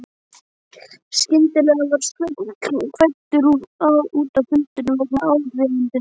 Skyndilega var Sveinn kvaddur út af fundinum vegna áríðandi símtals.